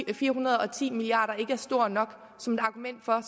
på fire hundrede og ti milliard kroner ikke er stor nok som et argument for